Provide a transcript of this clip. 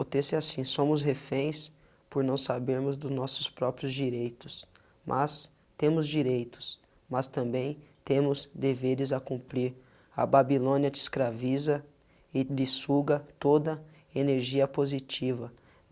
O texto é assim, somos reféns por não sabermos dos nossos próprios direitos, mas temos direitos, mas também temos deveres a cumprir a babilônia te escraviza e lhe suga toda energia positiva.